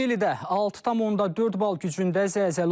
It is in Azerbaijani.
Çilidə 6,4 bal gücündə zəlzələ olub.